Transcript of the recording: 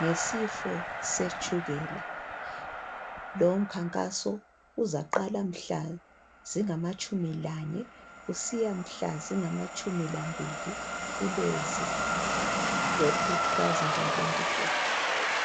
ngesifo setshukela lo mkhankaso uzaqala mhlaka zingamatshumi lanye kusiya mhla zingamatshumi lambili kuLwezi ku2024